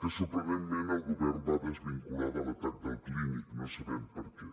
que sorprenentment el govern va desvincular de l’atac del clínic no sabem per què